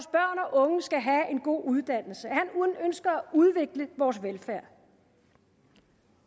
unge skal have en god uddannelse at han ønsker at udvikle vores velfærd